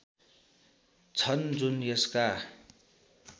छन् जुन यसका